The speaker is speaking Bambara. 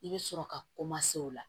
I bɛ sɔrɔ ka koma se o la